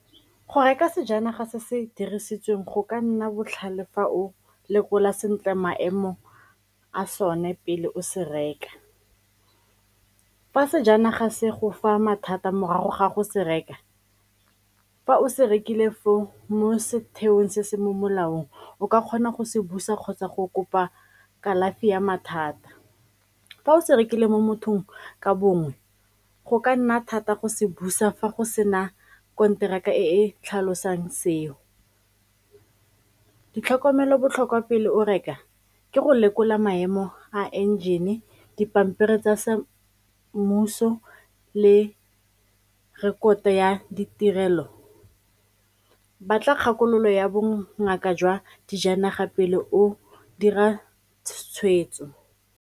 Go reka sejanaga se se dirisitsweng go ka nna botlhale fa o lekola sentle maemo a sone pele o se reka. Fa sejanaga se go fa mathata morago ga go se reka, fa o se rekile foo mo setheong se se mo molaong o ka kgona go se busa kgotsa go kopa kalafi ya mathata. Fa o se rekile mo mothong ka bongwe, go ka nna thata go se busa fa go sena konteraka e tlhalosang seo. Ditlhokomelo botlhokwa pele o reka, ke go lekola maemo a enjene, dipampiri tsa sa mmuso le rekoto ya ditirelo, batla kgakololo ya bongaka jwa dijanaga pele o dira tshwetso.